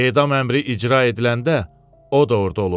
Edam əmri icra ediləndə o da orada olub.